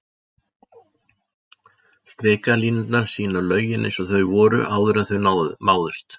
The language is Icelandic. Strikalínurnar sýna lögin eins og þau voru áður en þau máðust.